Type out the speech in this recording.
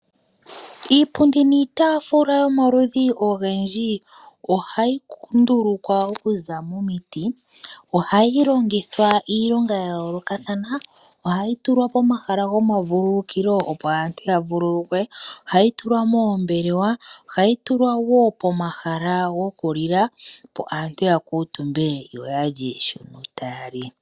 Iipundi niitaafula yomaludhi ogendji ohayi ndulukwa okuza momiti, ohayi longithwa iilonga ya yoolokathana, ohayi tulwa pomahala goma vululukilo, opo aantu ya vululukwe, ohayi tulwa moombelewa ohayi tulwa wo pomahala gokulila, opo aantu ya kuutumbe yo ya lye shota ya li.